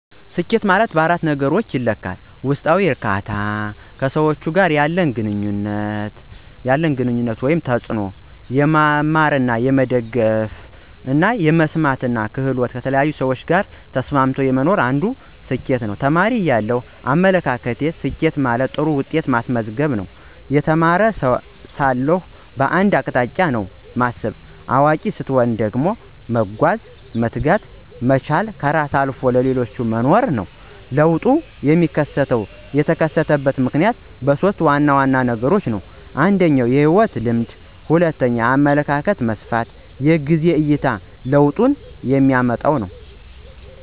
ስኬት ማለት እንደኔ እይታ /ፍች ለኔ ሰኬት በአራት ነገሮች ይለካል 1, ውስጣዊ ዕርካታና እርግአታ ሲሰማኝ አንዱ ስኬት ነው። 2, ከሰዎች ጋር ያለኝ ግንኙነት እና ተጽእኖ አንተ ለሰዎች አሰፈላጊ ስትሆን አንድ ሰኬት ነው። 3, የመማር እና የመደገፍ ወቅታዊ ሂደት ስዎች ያለወቁት ማሳውቅ የተቸገሩትን ካለኝ ላይ መደገፍ አንድ ስኬት ነው 4, የመስማማት ክህሎት: ከተለያዪ ሰዎች ጋር ተስማምቶ ጥሩ ሀሳብና ንግግር አድርጎ ለውጥ ማምጣት አንድ ስኬት ነው። ተማሪ እያለው አመለካከቴ፦ ስኬት ጥሩ ውጤት ማስመዝገብ, የተማሪ ሳለሁ በአንድ አቅጣጫ ነውና ማስብ። አዋቂ ሰትሆን ደግሞ መጓዝ፣ መትጋት፣ መቻል እና ከራስ አልፎም ለሌሎች መኖር ነው። ለውጡ የሚከሰተው /የተከሰተበት ምክንያት በሦስት ዋና ዋና ነገሮች ነው። እነሱም 1, የህይወት ልምድ 2, የአመለካከት መስፍፍት 3, የጊዜ አይታ ለውጡንየሚመጣው።